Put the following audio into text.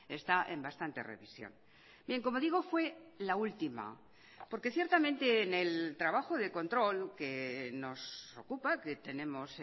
está en bastante revisión bien como digo fue la última porque ciertamente en el trabajo de control que nos ocupa que tenemos